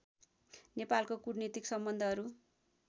नेपालको कूटनीतिक सम्बन्धहरू